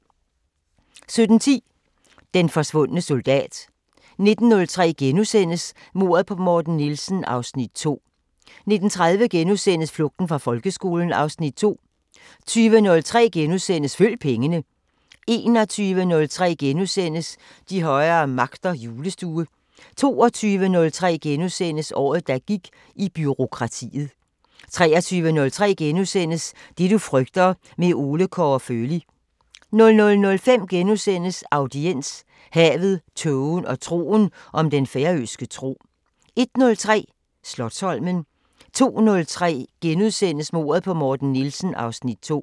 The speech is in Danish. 17:10: Den forsvundne soldat 19:03: Mordet på Morten Nielsen (Afs. 2)* 19:30: Flugten fra folkeskolen (Afs. 2)* 20:03: Følg pengene * 21:03: De højere magter: Julestue * 22:03: Året der gik i bureaukratiet * 23:03: Det du frygter – med Ole Kåre Føli * 00:05: Audiens: Havet, tågen og troen – om den færøske tro * 01:03: Slotsholmen 02:03: Mordet på Morten Nielsen (Afs. 2)*